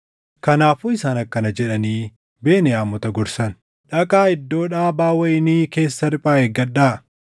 Kanaafuu isaan akkana jedhanii Beniyaamota gorsan; “Dhaqaa iddoo dhaabaa wayinii keessa riphaa eeggadhaa.